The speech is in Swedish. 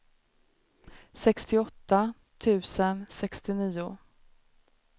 sextioåtta tusen sextionio